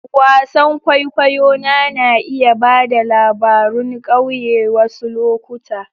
Wasan kwaikwayo na na iya ba da labarun ƙauye wasu lokuta.